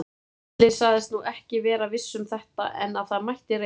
Gísli sagðist nú ekki vera viss um þetta, en að það mætti reyna.